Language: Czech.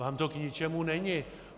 Vám to k ničemu není.